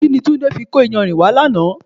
Kini Túndé fi kó iyanrìn wá lánàá?